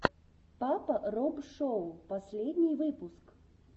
папа роб шоу последний выпуск